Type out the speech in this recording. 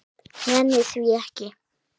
Nenni því ekki.